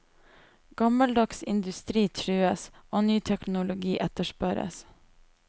Gammeldags industri trues, og ny teknologi etterspørres.